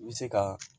I bɛ se ka